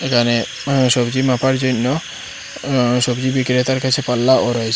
এখানে সবজি মাপার জইন্য অ সবজি বিক্রেতার কাছে পাল্লাও রয়েসে।